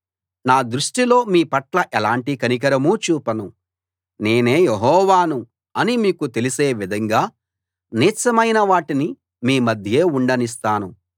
నా దృష్టిలో మీ పట్ల ఎలాంటి కనికరమూ చూపను నేనే యెహోవాను అని మీకు తెలిసే విధంగా నీచమైన వాటిని మీ మధ్యే ఉండనిస్తాను